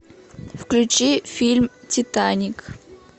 включи фильм титаник